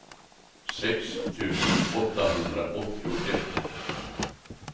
sex tusen åttahundraåttioett